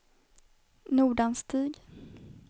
Nordanstig